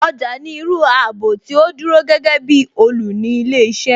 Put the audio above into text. Ọjà ni irú ààbò tí ó dúró gẹ́gẹ́ bí olùni ilé iṣẹ́